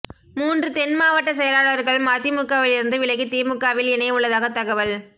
மூன்று தென் மாவட்ட செயலாளர்கள் மதிமுகவிலிருந்து விலகி திமுகவில் இணைய உள்ளதாக தகவல்